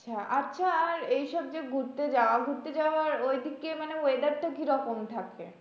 আচ্ছা এইসব যে ঘুরতে যাওয়া ঘুরতে যাওয়ার ঐদিকে মানে weather টা কিরকম থাকে?